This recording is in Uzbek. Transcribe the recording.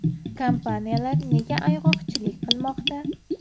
Kompaniyalar nega ayg‘oqchilik qilmoqda?